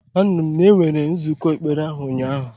Anụrụ m na enwere nzụkọ ekpere ahụ ụnyahụ.